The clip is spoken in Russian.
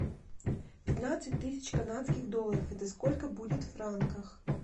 пятнадцать тысяч канадских долларов это сколько будет в франках